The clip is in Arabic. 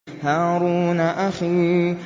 هَارُونَ أَخِي